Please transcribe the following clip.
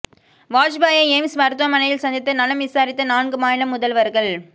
வாஜ்பாயை AIIMS மருத்துவமனையில் சந்தித்து நலம் விசாரித்த நான்கு மாநில முதல்வர்கள்